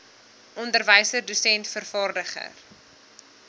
onderwyser dosent vervaardiger